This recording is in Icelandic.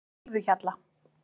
Fífuhjalla